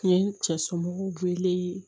Nin ye cɛ somɔgɔw wele